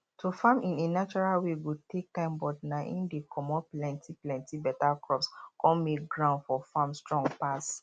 to farm in a natural way go take time but na im dey comot plenty plenty better crops con make ground for farm strong pass